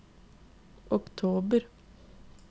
oktober